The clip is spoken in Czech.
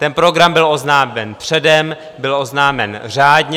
Ten program byl oznámen předem, byl oznámen řádně.